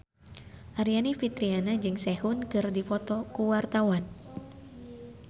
Aryani Fitriana jeung Sehun keur dipoto ku wartawan